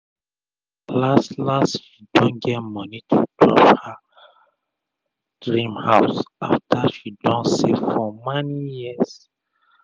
las las she don get moni to drop for her drim house after she don save for mani years